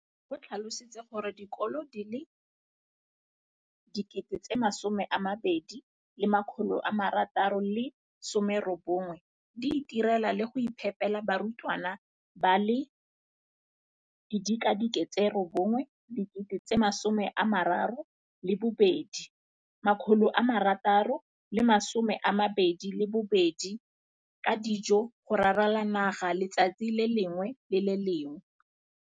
o tlhalositse gore dikolo di le 20 619 di itirela le go iphepela barutwana ba le 9 032 622 ka dijo go ralala naga letsatsi le lengwe le le lengwe.